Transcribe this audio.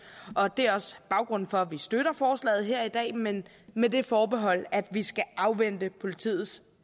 og det er også baggrunden for at vi støtter forslaget her i dag men med det forbehold at vi skal afvente politiets